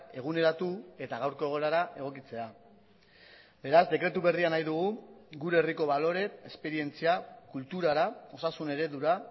eguneratu eta gaurko egoerara egokitzea beraz dekretu berria nahi dugu gure herriko balore esperientzia kulturara osasun eredura